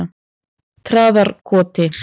Traðarkoti